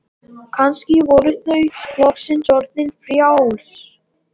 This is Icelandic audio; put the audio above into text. Kannski voru þau loksins orðin frjáls.